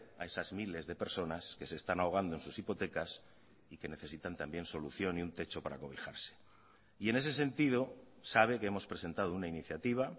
a esas miles de personas que se están ahogando en sus hipotecas y que necesitan también solución y un techo para cobijarse y en ese sentido sabe que hemos presentado una iniciativa